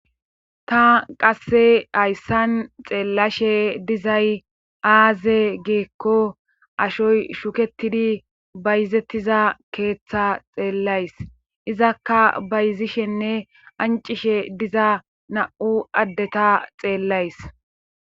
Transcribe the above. Ta qasse hayssan xeellashe dizay aaze geekko ashoy shuketidi bayzettiza keeththa xeellays izakka bayzishenne ancishe diza na'u addeta xeellays.